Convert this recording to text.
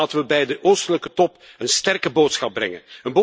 Laten we bij de Oostelijke top een sterke boodschap brengen.